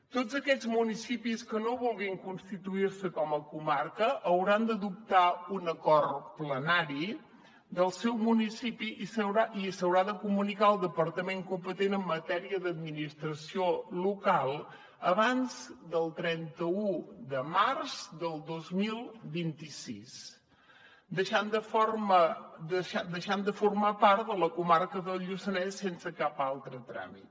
tots aquests municipis que no vulguin constituir se com a comarca hauran d’adoptar un acord plenari del seu municipi i s’haurà de comunicar al departament competent en matèria d’administració local abans del trenta un de març del dos mil vint sis deixant de formar part de la comarca del lluçanès sense cap altre tràmit